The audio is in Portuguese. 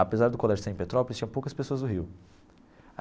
Apesar do colégio estar em Petrópolis, tinha poucas pessoas do Rio.